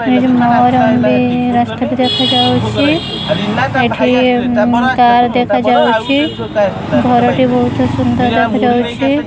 ରାସ୍ତା ବି ଦେଖାଯାଉଚି ଏଠି କାର ଦେଖାଯାଉଚି ଘର ଟି ବହୁତ ସୁନ୍ଦର ଦେଖାଯାଉଚି।